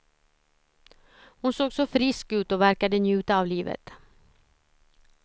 Hon såg så frisk ut och verkade njuta av livet.